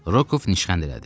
Rokov nişxənd elədi.